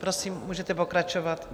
Prosím, můžete pokračovat.